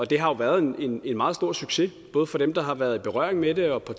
det har været en meget stor succes både for dem der har været i berøring med det og